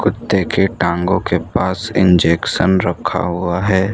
कुत्ते के टांगों के पास इंजेक्शन रखा हुआ है।